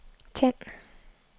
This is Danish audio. tænd